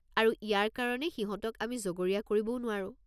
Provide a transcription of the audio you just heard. আৰু ইয়াৰ কাৰণে সিহঁতক আমি জগৰীয়া কৰিবও নোৱাৰোঁ।